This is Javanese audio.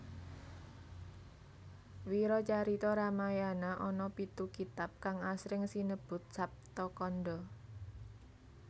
Wiracarita Ramayana ana pitu kitab kang asring sinebut Saptakanda